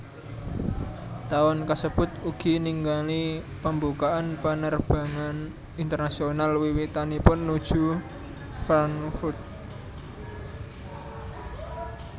Taun kasebut ugi ningali pembukaan penerbangan internasional wiwitanipun nuju Frankfurt